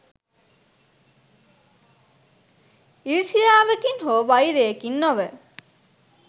ඊර්ෂ්‍යාවකින් හෝ වෛරයකින් නොව